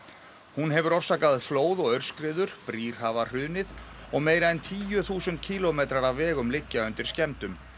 hún hefur orsakað flóð og aurskriður brýr hafa hrunið og meira en tíu þúsund kílómetrar af vegum liggja undir skemmdum